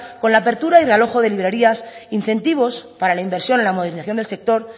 con la apertura y realojo de librerías incentivos para la inversión la modernización del sector